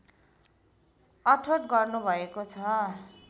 अठोट गर्नुभएको छ